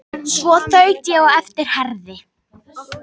Svo þaut ég á eftir Herði.